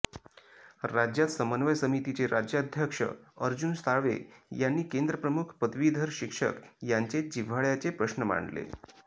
राज्यात समन्वय समितीचे राज्याध्यक्ष अर्जुन साळवे यांनी केंद्रप्रमुख पदवीधर शिक्षक यांचे जिव्हाळ्याचे प्रश्न मांडले